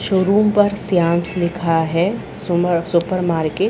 Showroom पर श्यामस लिखा है सुपरमार्केट ।